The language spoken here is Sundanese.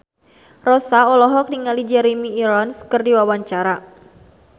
Rossa olohok ningali Jeremy Irons keur diwawancara